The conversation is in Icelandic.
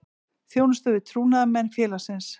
Þjónusta við trúnaðarmenn félagsins.